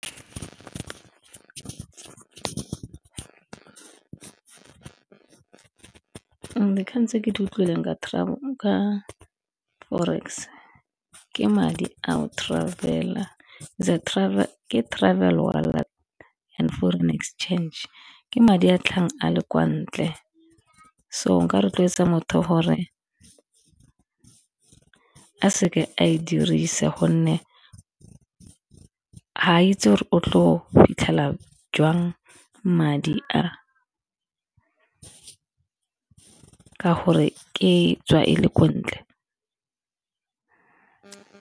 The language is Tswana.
Dikgang tse ke di utlwileng ka forex, ke travel wallet and foreign exchange. Ke madi a tlhagang a le kwa ntle, so nka rotloetsa motho gore a seke a e dirisa gonne ga itse o tlo fitlhela jwang madi a ka gore e tswa e le ko ntle.